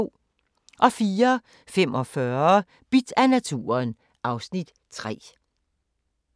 04:45: Bidt af naturen (Afs. 3)